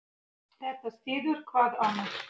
Þetta styður hvað annað.